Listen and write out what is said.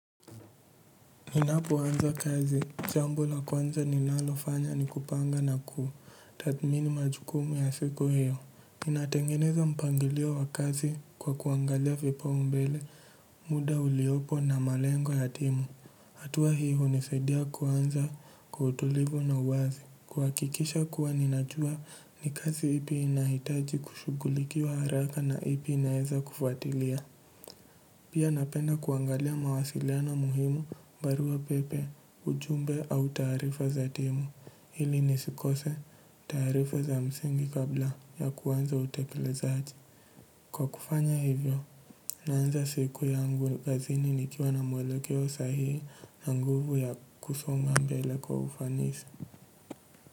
Ninapoanza kazi, jambo la kwanza ninalofanya ni kupanga na kuthatmini majukumu ya siku hio. Ninatengeneza mpangilio wa kazi kwa kuangalia vipaumbele, muda uliopo na malengo ya timu. Hatua hii hunisaidia kuanza kwa utulivu na uwazi. Kuhakikisha kuwa ninajua ni kazi ipi inahitaji kushugulikiwa haraka na ipi inaweza kufatilia. Pia napenda kuangalia mawasiliano muhimu barua pepe ujumbe au taarifa za timu ilib nisikose tarifa za msingi kabla ya kuanza utekelezaji. Kwa kufanya hivyo, naanza siku yangu kazini nikiwa na mwelokeo sahihi na nguvu ya kusonga mbele kwa ufanisi.